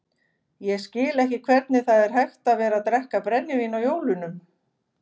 Ég skil ekki hvernig það er hægt að vera að drekka brennivín á jólunum.